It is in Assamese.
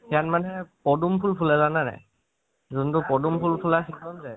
তাত মানে পদুম ফুল জানানে নাই? যোনটো পদুম ফুল ফুলে সেইখন যে